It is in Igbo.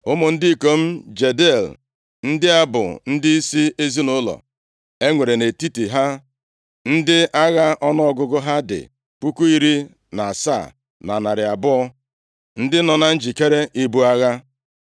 Ụmụ ndị ikom Jediael ndị a bụ ndịisi ezinaụlọ. E nwere nʼetiti ha ndị agha ọnụọgụgụ ha dị puku iri na asaa na narị abụọ (17,200), ndị nọ na njikere ibu agha.